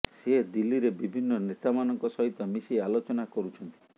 ସେ ଦିଲ୍ଲୀରେ ବିଭିନ୍ନ ନେତାମାନଙ୍କ ସହିତ ମିଶି ଆଲୋଚନା କରୁଛନ୍ତି